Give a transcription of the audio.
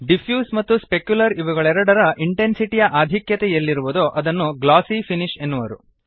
diffuse ಮತ್ತು specular ಇವುಗಳೆರಡರ intensity ಯ ಆಧಿಕ್ಯತೆ ಎಲ್ಲಿರುವುದೋ ಅದನ್ನು ಗ್ಲಾಸೀ ಫಿನಿಶ್ ಎನ್ನುವರು